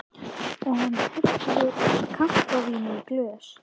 Og hann helli kampavíni í glös.